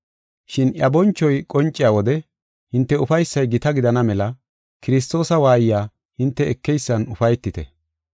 Shin iya bonchoy qonciya wode hinte ufaysay gita gidana mela Kiristoosa waayiya hinte ekeysan ufaytite.